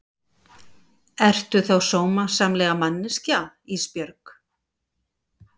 Ertu þá sómasamleg manneskja Ísbjörg?